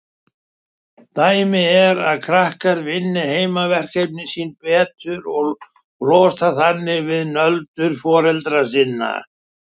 Dæmi er ef krakkar vinna heimaverkefnin sín betur og losna þannig við nöldur foreldra sinna.